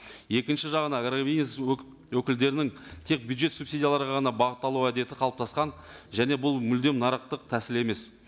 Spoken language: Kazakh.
екінші жағынан ірі бизнес өкілдерінің тек бюджет субсидияларға ғана бағытталуға әдеті қалыптасқан және бұл мүлдем нарықтық тәсіл емес